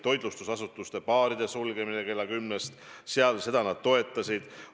Toitlustusasutuste, baaride sulgemine kella kümnest – seda nad toetasid.